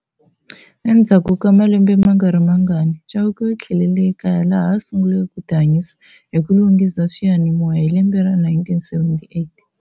Endzhaku ka malembe mangari mangani, Chauke u thlelele e kaya laha a sunguleke ku ti hanyisa hi ku lunghisa swiyanimoya, hi lembe ra 1978.